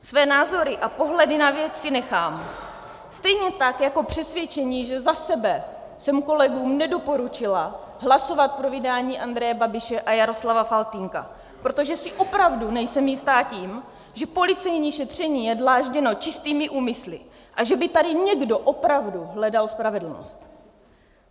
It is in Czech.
Své názory a pohledy na věc si nechám, stejně tak jako přesvědčení, že za sebe jsem kolegům nedoporučila hlasovat pro vydání Andreje Babiše a Jaroslava Faltýnka, protože si opravdu nejsem jistá tím, že policejní šetření je dlážděno čistými úmysly a že by tady někdo opravdu hledal spravedlnost.